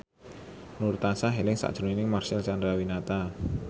Nur tansah eling sakjroning Marcel Chandrawinata